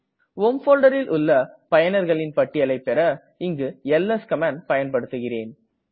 home folderல் உள்ள பயனர்களின் பட்டியலை பெற இங்கு எல்எஸ் கமாண்டை பயன்படுத்துகிறேன்